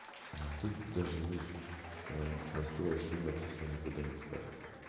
ля тут даже видишь настоящее имя тут своё никогда не скажет